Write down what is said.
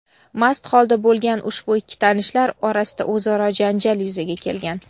Mast holda bo‘lgan ushbu ikki tanishlar orasida o‘zaro janjal yuzaga kelgan.